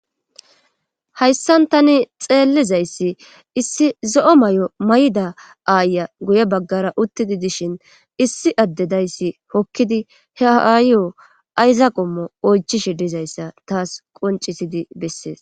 Hayssan tani xeellizayssi issi zo7o may7o may7da aaya guye baggara uttidi dishin issi addedayssi hokkidi he haayo ayzaqomo oychishe dizayssa taas qoncisidi bessees.